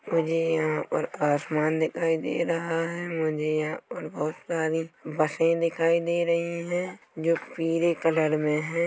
मुझे यहाँ पर आसमान दिखाई दे रहा है मझे यहाँ पर बहुत सारी बसें दिखाई दे रही हैं जो पीरे कलर में हैं।